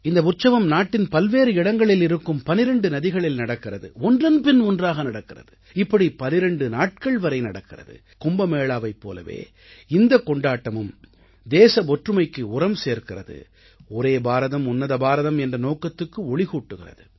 இந்த உற்சவம் நாட்டின் பல்வேறு இடங்களில் இருக்கும் 12 நதிகளில் நடக்கிறது ஒன்றன்பின் ஒன்றாக நடக்கிறது இப்படி 12 நாட்கள் வரை நடக்கிறது கும்பமேளாவைப் போலவே இந்தக் கொண்டாட்டமும் தேச ஒற்றுமைக்கு உரம் சேர்க்கிறது ஒரே பாரதம் உன்னத பாரதம் என்ற நோக்கத்துக்கு ஒளிகூட்டுகிறது